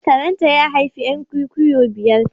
Karen ta, ya haifi 'yan kwikwiyo biyar.